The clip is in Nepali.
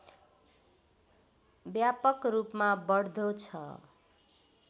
व्यापक रूपमा बढ्दो छ